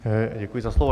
Děkuji za slovo.